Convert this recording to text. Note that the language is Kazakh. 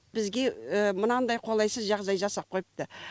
бізге мынандай қолайсыз жағдай жасап қойыпты